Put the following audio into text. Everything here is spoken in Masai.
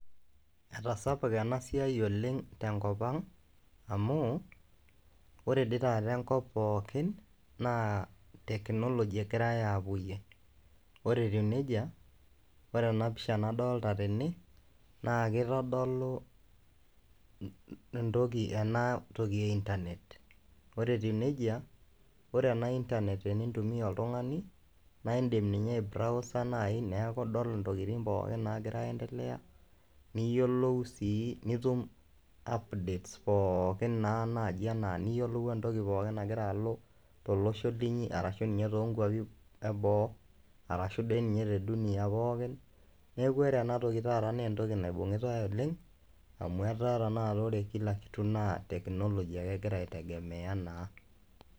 Etasapuka ena siai oleng' tenkop ang' amu ore dii taata enkop pookin naa teknoloji egirai aapuoyie. Ore etiu neija, ore ena pisha nadolta tene naake itodolu entoki ena toki e intanet, ore etiu neija ore ena intanet enintumia oltung'ani nae indim ninye aibrowsa nai neeku idol ntokitin pookin naagira aiendelea niyolou sii nitum updates pookin naa naji enaa niyolou entoki pookin nagira alo tolosho linyi arashu ninye too nkuapi eboo arashu doi ninye te dunia pookin. Neeku ore ena toki taata nee entoki naibung'itai oleng' amu etaa tenakata ore kila kitu naa teknoloji ake egira aitegemea naa.